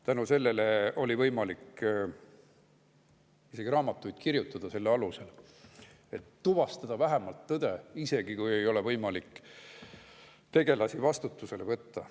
Tänu sellele oli võimalik isegi raamatuid kirjutada, selle töö alusel, et tuvastada vähemalt tõde, isegi kui ei olnud võimalik neid tegelasi vastutusele võtta.